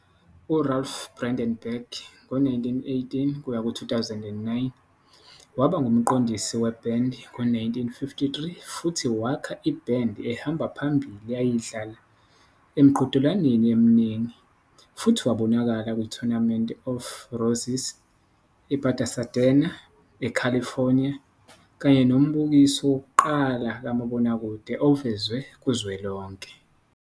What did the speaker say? U-Ralph Bredenberg, 1918-2009, waba umqondisi webhendi ngo-1953 futhi wakha ibhendi ehamba phambili eyayidlala emiqhudelwaneni eminingi, futhi wabonakala ku-Tournament of Roses ePasadena, eCalifornia kanye nombukiso wokuqala kamabonakude ovezwe kuzwelonke.